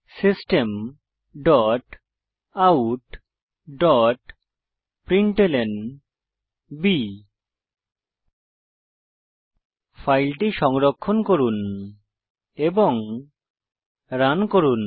system dot out dot println ফাইলটি সংরক্ষণ করুন এবং রান করুন